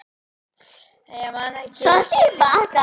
Ég man ekki eða skil ekki hvers vegna ég var yfirleitt ein míns liðs.